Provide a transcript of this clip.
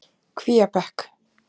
Kvíabekk